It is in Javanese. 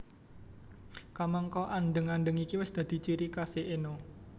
Kamangka andheng andheng iki wis dadi ciri khasé Enno